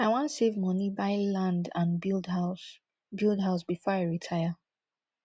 i wan save money buy land and build house build house before i retire